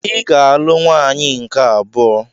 Ị ga-alụ nwaanyị nke abụọ!